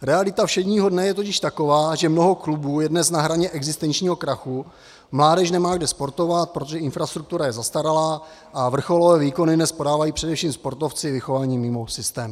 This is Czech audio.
Realita všedního dne je totiž taková, že mnoho klubů je dnes na hraně existenčního krachu, mládež nemá kde sportovat, protože infrastruktura je zastaralá, a vrcholové výkony dnes podávají především sportovci vychovaní mimo systém.